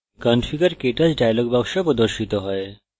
configurektouch dialog box প্রদর্শিত হয়